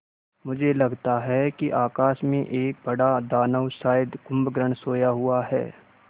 मुझे लगता है कि आकाश में एक बड़ा दानव शायद कुंभकर्ण सोया हुआ है